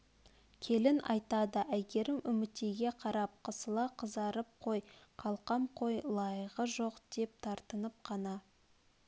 келін айтады әйгерім үмітейге қарап қысыла қызарып қой қалқам қой лайығы жоқ деп тартынып қана